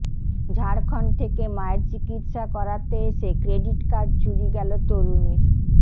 ঝাড়খণ্ড থেকে মায়ের চিকিৎসা করাতে এসে ক্রেডির্ট কার্ড চুরি গেল তরুণীর